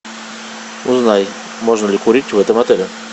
узнай можно ли курить в этом отеле